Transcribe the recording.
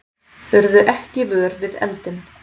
Urðu ekki vör við eldinn